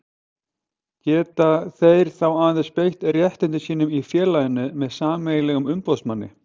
Geta þeir þá aðeins beitt réttindum sínum í félaginu með sameiginlegum umboðsmanni.